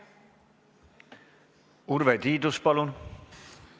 Urve Tiidus, palun!